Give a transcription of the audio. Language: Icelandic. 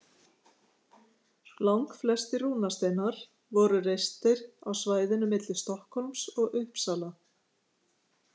Langflestir rúnasteinar voru reistir á svæðinu milli Stokkhólms og Uppsala.